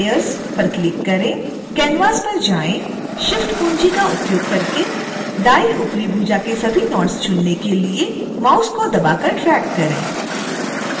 canvas पर जाएं shift कुंजी का उपयोग करके दाईं ऊपरी भुजा के सभी नोड्स चुनने के लिए माउस को दबाकर ड्रैग करें